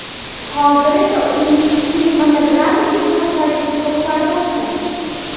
Hozir esa uning kinematografik jihatlariga to‘xtalib o‘tsak.